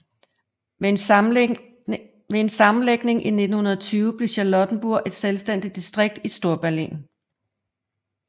Ved en sammenlægning i 1920 blev Charlottenburg et selvstændigt distrikt i Storberlin